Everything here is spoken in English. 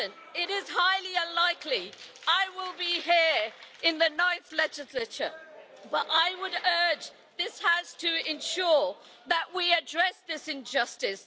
It is highly unlikely I will be here in the ninth legislature, but I would urge this House to ensure that we address this injustice.